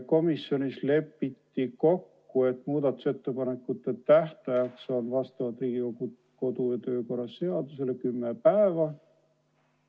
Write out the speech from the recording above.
Komisjonis lepiti kokku, et muudatusettepanekute tähtaeg on vastavalt Riigikogu kodu- ja töökorra seadusele kümme päeva.